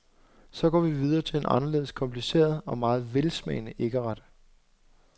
Så går vi videre til en anderledes kompliceret og meget velsmagende æggeret.